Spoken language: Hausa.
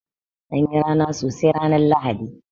An yi rana sosai ran Lahadi.